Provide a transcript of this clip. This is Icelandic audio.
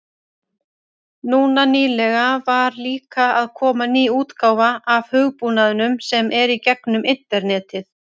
Núna nýlega var líka að koma ný útgáfa af hugbúnaðinum sem er í gegnum internetið.